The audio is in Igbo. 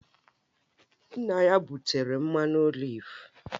Nna ya butere mmanụ oliv